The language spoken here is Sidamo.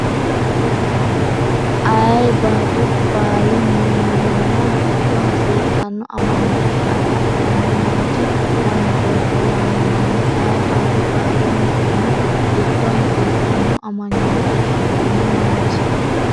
Ayee barru baali millimmo giddo hasiisanno amanyoote agadhanno manchi manchooti yaamamanno Ayee barru baali millimmo giddo hasiisanno amanyoote agadhanno manchi.